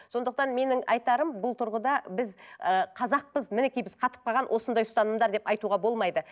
сондықтан менің айтарым бұл тұрғыда біз ыыы қазақпыз мінекей біз қатып қалған осындай ұстанымдар деп айтуға болмайды